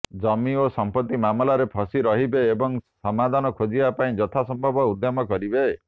ଜମି ଏବଂ ସମ୍ପତ୍ତି ମାମଲାରେ ଫସି ରହିବେ ଏବଂ ସମାଧାନ ଖୋଜିବା ପାଇଁ ଯଥା ସମ୍ଭବ ଉଦ୍ୟମ କରିବେ